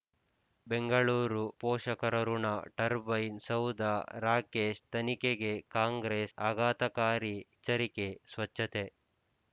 ಬೆಂಗಳೂರು ಪೋಷಕರಋಣ ಟರ್ಬೈನ್ ಸೌಧ ರಾಕೇಶ್ ತನಿಖೆಗೆ ಕಾಂಗ್ರೆಸ್ ಆಘಾತಕಾರಿ ಎಚ್ಚರಿಕೆ ಸ್ವಚ್ಛತೆ